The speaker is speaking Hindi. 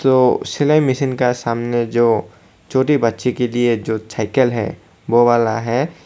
वो सिलाई मशीन का सामने जो छोटी बच्ची के लिए जो साइकल है वो वाला है।